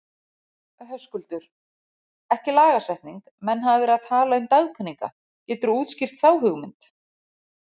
Höskuldur: Ekki lagasetning, menn hafa verið að tala um dagpeninga, geturðu útskýrt þá hugmynd?